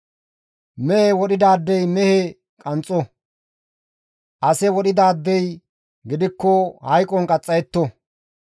Mehe wodhidaadey mehe qanxxo; ase wodhidaadey gidikko hayqon qaxxayetto.